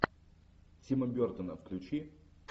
тима бертона включи